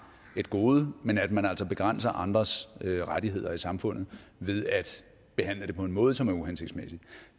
et gode men at man altså begrænser andres rettigheder i samfundet ved at behandle det på en måde som er uhensigtsmæssig